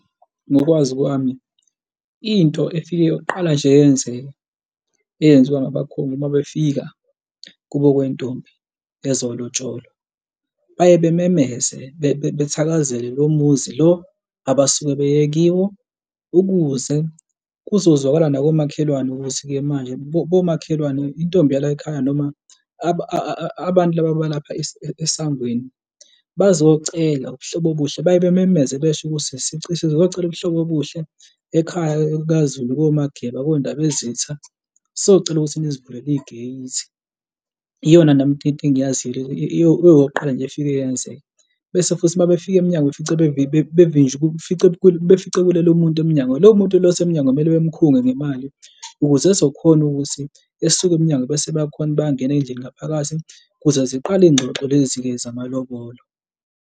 Ngokwazi kwami, into efike yoqala nje yenzeke eyenziwa ngabakhongi uma befika kubo kwentombi ezolotsholwa. Baye bamemeze bethakazele lowo muzi lo abasuke beye kiwo ukuze kuzozwakala nakomakhelwane ukuthi-ke manje bomakhelwane, intombi yalayikhaya noma abantu laba abalapha esangweni bazocela ubuhlobo obuhle baye bamemeze basho ukuthi sizocela ubuhlobo obuhle ekhaya kaZulu koMageba koNdabezitha sazocela ukuthi nisivulele i-gate. Iyona nami into engiyaziyo leyo eyokuqala nje efike yenzeka. Base futhi uma befika befica kuhlele umuntu emnyango, lowo muntu loyo esemnyango kumele bemkhulu ngemali ukuze ezokhona ukuthi esisuke emnyango bese bayakhona bayangena ey'ndlini ngaphakathi ukuze ziqale iy'ngxoxo lezi-ke zamalobolo.